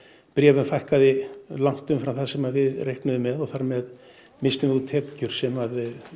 bréfum fækkaði langt umfram það sem við reiknuðum með og þar með misstum við út tekjur sem